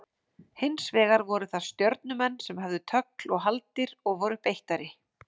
Hins vegar voru það Stjörnumenn sem höfðu tögl og haldir og voru beittari.